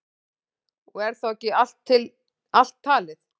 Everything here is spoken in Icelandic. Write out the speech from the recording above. Og er þá ekki allt talið.